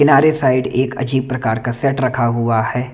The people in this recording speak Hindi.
किनारे साइड एक अजीब प्रकार का सेट रखा हुआ है।